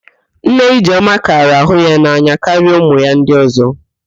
Nne Ijeọma kara wee hụ ya n'anya karịa ụmụ ya ndị ọ̀zọ́